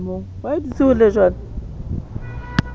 a ko nahane o be